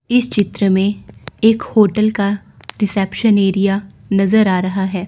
इस चित्र में एक होटल का रिसेप्शन एरिया नजर आ रहा है।